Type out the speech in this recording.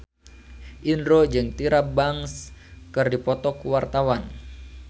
Indro jeung Tyra Banks keur dipoto ku wartawan